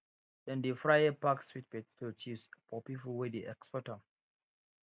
dem dey fry pack sweet potato chips for people wey dey export am